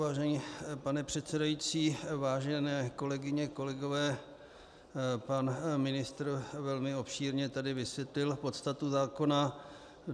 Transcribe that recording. Vážený pane předsedající, vážené kolegyně, kolegové, pan ministr velmi obšírně tady vysvětlil podstatu zákona.